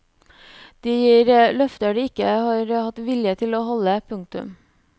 De gir løfter de ikke har hatt vilje til å holde. punktum